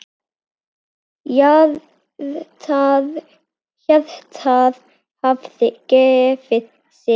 Hjartað hafði gefið sig.